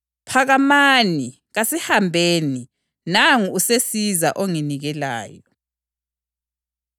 Wasebuyela kubafundi wathi kubo, “Lilele, liyaphumula na? Khangelani, isikhathi sesisondele, iNdodana yoMuntu isizanikelwa ezandleni zezoni.